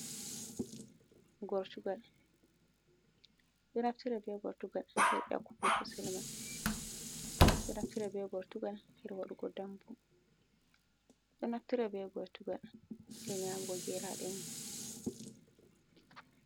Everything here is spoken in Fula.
Gortugal ɓe ɗo naftira be gortugal hir yakkugo ko selmai ɓe ɗo naftira be gortugal hir wadugo ɗambu ɓe ɗo naftira be grtugal hir nyaamugo geraɗe mun.